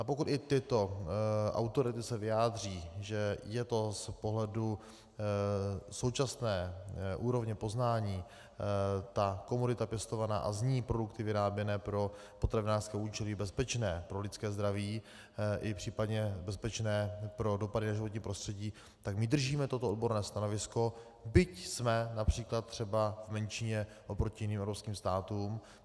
A pokud i tyto autority se vyjádří, že je to z pohledu současné úrovně poznání, ta komodita pěstovaná a z ní produkty vyráběné pro potravinářské účely, bezpečné pro lidské zdraví i případně bezpečné pro dopady na životní prostředí, tak my držíme toto odborné stanovisko, byť jsme například třeba v menšině oproti jiným evropským státům.